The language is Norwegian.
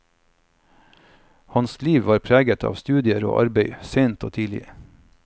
Hans liv var preget av studier og arbeid, sent og tidlig.